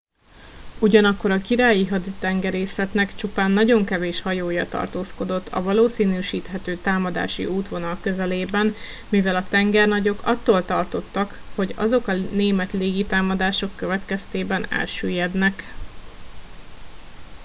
ugyanakkor a királyi haditengerészetnek csupán nagyon kevés hajója tartózkodott a valószínűsíthető támadási útvonal közelében mivel a tengernagyok attól tartottak hogy azok a német légitámadások következtében elsüllyednek